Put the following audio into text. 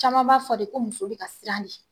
Caman b'a fɔ de ko muso be ka sir'a ɲɛ.